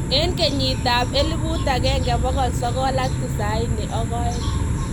Eng kenyitab 1992.